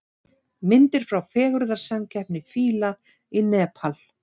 Myndir frá fegurðarsamkeppni fíla í Nepal